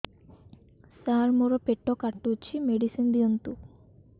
ସାର ମୋର ପେଟ କାଟୁଚି ମେଡିସିନ ଦିଆଉନ୍ତୁ